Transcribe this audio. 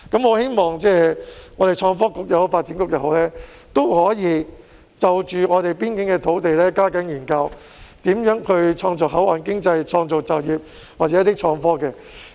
我希望創新及科技局或發展局可以就着邊境的土地加緊研究如何創造口岸經濟、創造就業或創新科技。